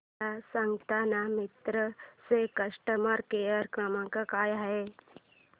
मला सांगाना मिंत्रा चा कस्टमर केअर क्रमांक काय आहे